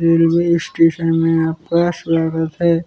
Railway station मे आपका स्वागत है।